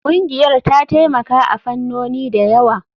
Ƙungiyar ta taimaka a fannoni da yawa.